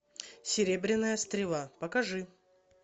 серебряная стрела покажи